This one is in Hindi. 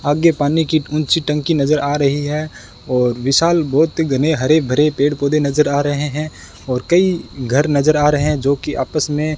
आगे पानी की ऊंची टंकी नजर आ रही है और विशाल बहोत ही घने हरे भरे पेड़ पौधे नजर आ रहे हैं और कई घर नजर आ रहे हैं जोकि आपस में --